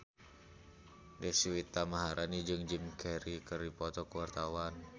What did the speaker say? Deswita Maharani jeung Jim Carey keur dipoto ku wartawan